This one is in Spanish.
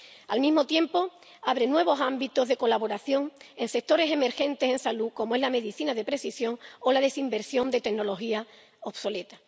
Al mismo tiempo, abre nuevos ámbitos de colaboración en sectores emergentes en salud como es la medicina de precisión o la desinversión de tecnología obsoleta.